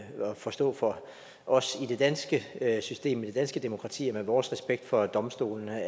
forstå for os i det danske system i det danske demokrati og med vores respekt for domstolene